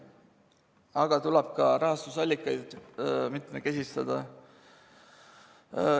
Aga tuleb ka rahastamisallikaid mitmekesistada.